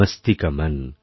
মস্তি কা মন